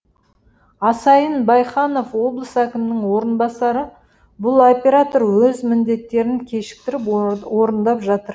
асайын байханов облыс әкімінің орынбасары бұл оператор өз міндеттерін кешіктіріп орындап жатыр